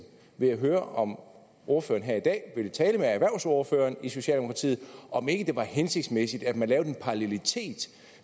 vil jeg høre om ordføreren her i dag vil tale med erhvervsordføreren i socialdemokratiet om ikke det var hensigtsmæssigt at man lavede en parallelitet